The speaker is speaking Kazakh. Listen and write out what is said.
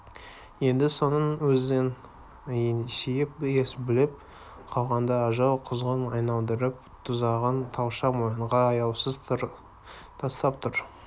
енді соның өзін есейіп ес біліп қалғанда ажал-құзғын айналдырып тұзағын талша мойынға аяусыз тастап тұр